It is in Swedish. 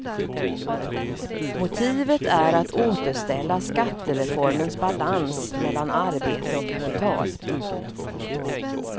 Motivet är att återställa skattereformens balans mellan arbete och kapital.